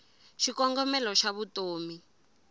xikongomelo xavutomi